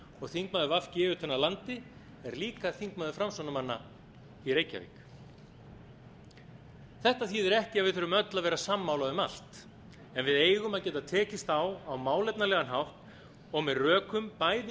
og þingmaður v g utan af landi er líka þingmaður framsóknarmanna í reykjavík þetta þýðir ekki að við þurfum öll að vera sammála um allt en við eigum að geta tekist á á málefnalegan hátt og með rökum jafnt